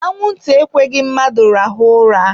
Anwụ nta ekweghị mmadụ rahụọ ụra.